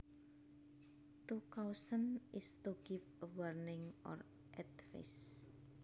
To caution is to give a warning or advice